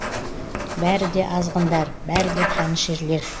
бәрі де азғындар бәрі де қанішерлер